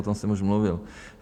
O tom jsem už mluvil.